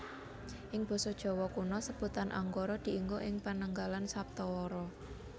Ing basa Jawa Kuna sebutan Anggara dienggo ing penanggalan saptawara